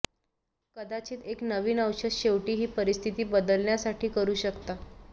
कदाचित एक नवीन औषध शेवटी ही परिस्थिती बदलण्यासाठी करू शकता